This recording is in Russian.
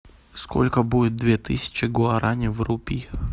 сколько будет две тысячи гуарани в рупиях